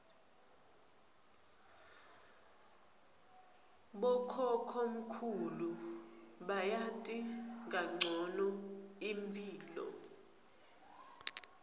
bokhokhomkhulu bayati kancono imphilo